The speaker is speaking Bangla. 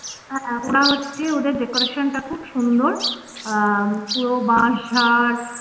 ওরা হচ্ছে ওদের decoration টা খুব সুন্দর আর আহ পুরো বাঁশ ছাড়